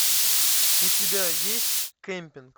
у тебя есть кемпинг